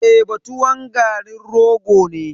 Teba tuwon garin rogo ne.